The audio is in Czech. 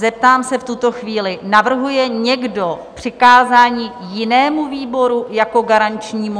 Zeptám se v tuto chvíli, navrhuje někdo přikázání jinému výboru jako garančnímu?